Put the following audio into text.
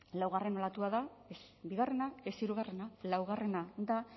laugarren olatua da ez bigarrena ez hirugarrena laugarrena da